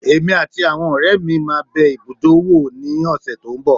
Èmi àti àwọn ọ̀rẹ́ mi máa bẹ ibùdó wò ní ọ̀sẹ̀ tó n bọ̀